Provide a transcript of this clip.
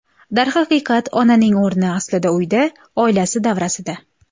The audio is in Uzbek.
Darhaqiqat, onaning o‘rni aslida uyda, oilasi davrasida.